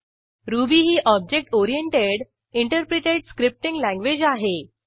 ruby ही object oriented interpreted scripting language आहे